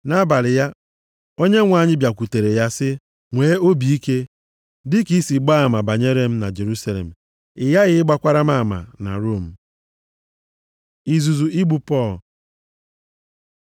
Nʼabalị ya, Onyenwe anyị bịakwutere ya sị, “Nwee obi ike, dịka i si gbaa ama banyere m na Jerusalem, ị ghaghị ịgbakwara m ama na Rom.” Izuzu igbu Pọl